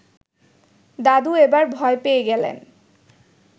দাদু এবার ভয় পেয়ে গেলেন